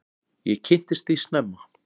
Ég kynntist því snemma.